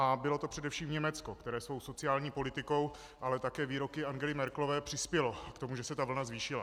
A bylo to především Německo, které svou sociální politikou, ale také výroky Angely Merkelové přispělo k tomu, že se ta vlna zvýšila.